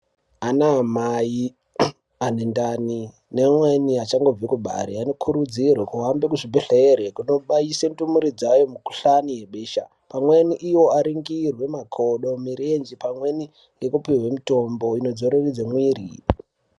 Ana mai amen ndani amweni achangobva kubara anokurudzirwa kuhambe kuzvibhedhlera kubaisenndumure dzawo mikuhlani yebesha pamweni Iwo aningire makodo nemirenje pamweni aapihwenmakodo anohairidza mwiri.